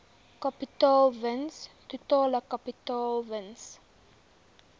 kapitaalwins totale kapitaalwins